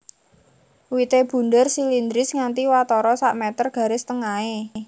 Wité bunder silindris nganti watara sak meter garis tengahé